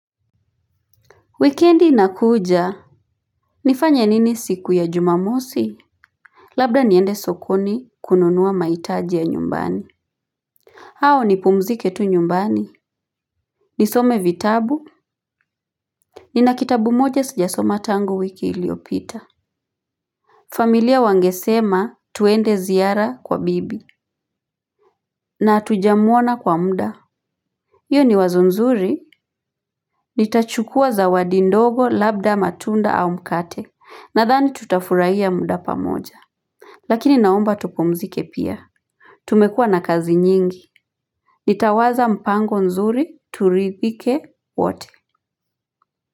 Wikendi inakuja, nifanye nini siku ya jumamosi? Labda niende sokoni kununua maitaji ya nyumbani. Hau ni pumzike tu nyumbani, nisome vitabu, nina kitabu moja sijasoma tangu wiki iliopita. Familia wangesema tuende ziara kwa bibi, na hatujamuona kwa muda. Iyo ni wazo nzuri, nitachukua zawadi ndogo labda matunda au mkate, nadhani tutafurahia muda pamoja. Lakini naomba tupumzike pia. Tumekua na kazi nyingi. Nitawaza mpango nzuri turidhike wote.